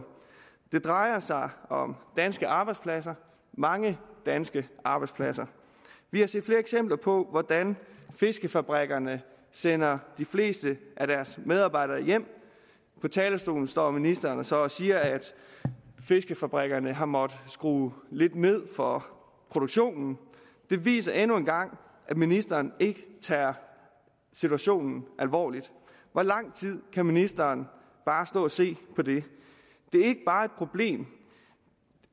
det drejer sig om danske arbejdspladser mange danske arbejdspladser vi har set flere eksempler på hvordan fiskefabrikkerne sender de fleste af deres medarbejdere hjem på talerstolen står ministeren så og siger at fiskefabrikkerne har måttet skrue lidt ned for produktionen det viser endnu en gang at ministeren ikke tager situationen alvorligt hvor lang tid kan ministeren bare stå og se på det det er ikke bare et problem